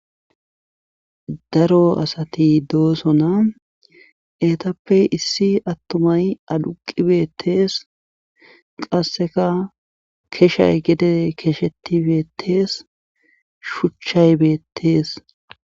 Daro asa doosona eetappe issi attuamy aduqqi beettees qassika keshay gede keshetti beettees shuchay beetees.